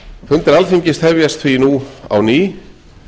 fundir alþingis hefjast því nú á ný